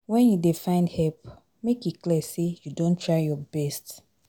Wen you dey find help, make e clear sey you don try your best.